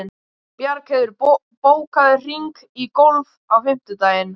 Bjargheiður, bókaðu hring í golf á fimmtudaginn.